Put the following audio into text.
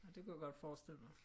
Nå det kunne jeg godt forestille mig